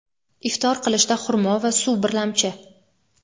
Iftor qilishda xurmo va suv birlamchi.